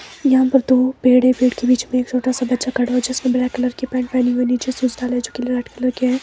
यहां पर दो पेड़ है। पेड़ के बीच में एक छोटा सा बच्चा खड़ा है जो जिसने ब्लैक कलर की पैंट पहनी हुई नीचे से शूज डाले है जो ब्लैक कलर के है।